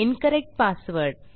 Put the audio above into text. incorrect password